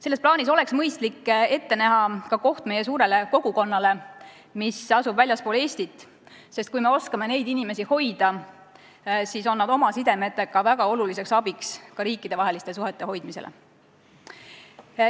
Selles plaanis oleks mõistlik ette näha koht ka meie suurele kogukonnale, mis asub väljaspool Eestit, sest kui me oskame neid inimesi hoida, siis on nad oma sidemetega väga oluliseks abiks ka riikidevaheliste suhete hoidmisel.